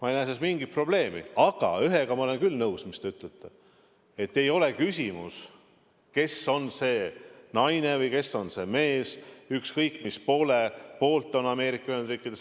Aga ühe asjaga, mis te ütlesite, ma olen küll nõus: ei ole küsimus, kes on see naine või kes on see mees, ükskõik mis poole poolt on Ameerika Ühendriigid.